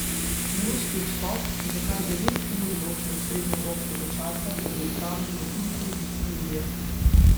Na ruski vzhod, ki ga kar devet ur loči od srednjeevropskega časa, se bo odpravil v drugi polovici julija.